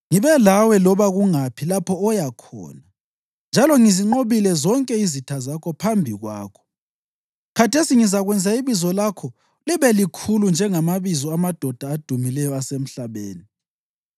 Ngibe lawe loba kungaphi lapho oya khona, njalo ngizinqobile zonke izitha zakho phambi kwakho. Khathesi ngizakwenza ibizo lakho libe likhulu, njengamabizo amadoda adumileyo asemhlabeni.